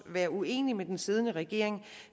være uenig med den siddende regering